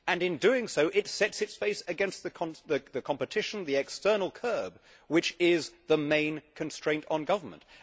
In doing so, it sets its face against the competition, the external curve, which is the main constraint on government.